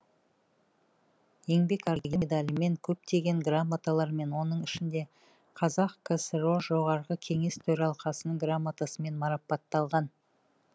еңбек ардагері медалімен көптеген грамоталармен оның ішінде қазксро жоғарғы кеңес төралқасының грамотасымен марапатталған